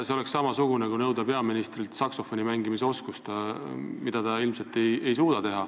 See oleks sama nagu nõuda peaministrilt saksofoni mängimise oskust, mida ta ilmselt teha ei suuda.